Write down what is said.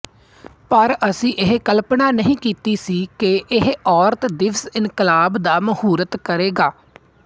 ਪਰ ਅਸੀਂ ਇਹ ਕਲਪਨਾ ਨਹੀਂ ਕੀਤੀ ਸੀ ਕਿ ਇਹ ਔਰਤ ਦਿਵਸ ਇਨਕਲਾਬ ਦਾ ਮਹੂਰਤ ਕਰੇਗਾ